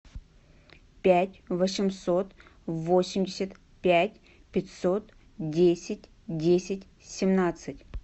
пять восемьсот восемьдесят пять пятьсот десять десять семнадцать